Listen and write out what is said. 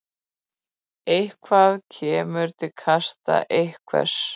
Eitthvað kemur til kasta einhvers